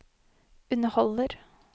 underholder